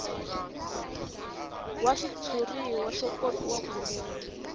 wa xitshuriwa xo kopiwa kunene